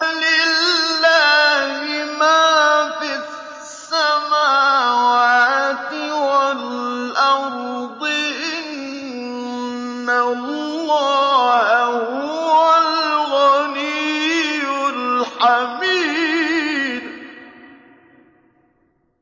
لِلَّهِ مَا فِي السَّمَاوَاتِ وَالْأَرْضِ ۚ إِنَّ اللَّهَ هُوَ الْغَنِيُّ الْحَمِيدُ